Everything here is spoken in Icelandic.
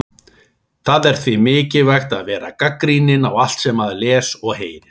Það er því mikilvægt að vera gagnrýninn á allt sem maður les og heyrir.